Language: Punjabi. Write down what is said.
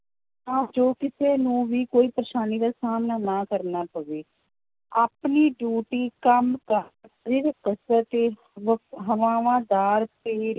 ਤਾਂ ਜੋ ਕਿਸੇ ਨੂੰ ਵੀ ਕੋਈ ਪਰੇਸਾਨੀ ਦਾ ਸਾਹਮਣਾ ਨਾ ਕਰਨਾ ਪਵੇ, ਆਪਣੀ duty ਕੰਮ ਹਵਾਵਾਂਦਾਰ ਤੇ